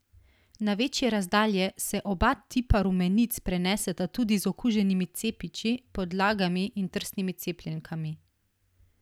Na večje razdalje se oba tipa rumenic preneseta tudi z okuženimi cepiči, podlagami in trsnimi cepljenkami.